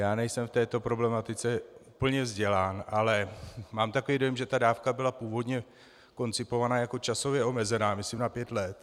Já nejsem v této problematice úplně vzdělán, ale mám takový dojem, že ta dávka byla původně koncipována jako časově omezená myslím na pět let.